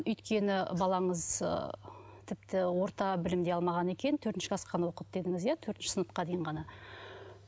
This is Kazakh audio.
өйткені балаңыз ы тіпті орта білім де алмаған екен төртінші класс қана оқыды дедіңіз иә төртінші сыныпқа дейін ғана